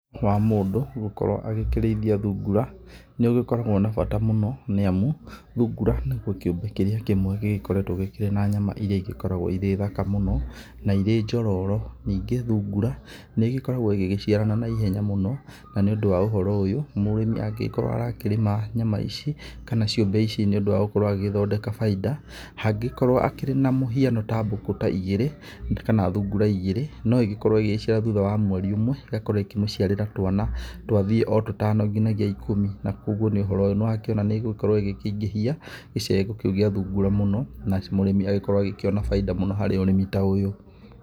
Wa mũndũ gũkorwo agĩkĩrĩithia thungura nĩ ũgĩkoragwo na bata mũno, nĩ amu thungura nĩkĩo kiũmbe kĩrĩa kĩmwe gĩgĩkoretwo na nyama irĩa igĩkoragwo irĩ thaka mũno na irĩ njororo. Ningĩ thungura nĩigĩkoragwo igĩciarana na ihenya mũno, na nĩũndũ wa ũhoro uyũ mũrĩmi angĩgĩkorwo agĩkĩrĩma nyama ici kana ciũmbe ici nĩ ũndũ wa gũkorwo agĩgĩthondeka bainda. Hangĩgĩkorwo hakĩrĩ na mũhiano ta mbũkũ ta igĩrĩ kana thungura ta igĩrĩ, no igĩkorwo ĩgĩgĩciara thutha wa mweri ũmwe ĩgakorwo ikĩmũciarĩra twana twathiĩ o tũtano nginyagia ikũmi. Na ũguo nĩ ũhoro ũyũ nĩ ũrakĩona nĩ ĩgũkorwo igĩkĩingĩhia gĩcegũkĩu gĩa thungura mũno na mũrĩmi agĩkorwo agĩkĩona bainda mũno harĩ ũrĩmi ta ũyũ.